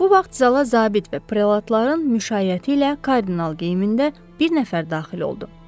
Bu vaxt zala zabit və prelatların müşayiəti ilə kardinal geyimində bir nəfər daxil oldu.